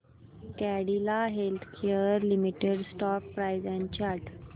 Cadila healthcare limited stock price and chart